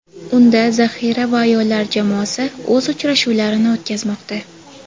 Unda zaxira va ayollar jamoasi o‘z uchrashuvlarini o‘tkazmoqda.